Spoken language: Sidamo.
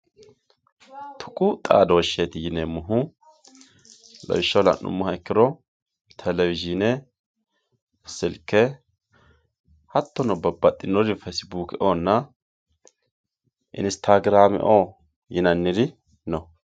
Tuqu xaadooshetti yineemohu lawishaho la'numoha ikkiro televishine, silke hatono babaxinore facebookeoonna inistagraameoo yinaniri no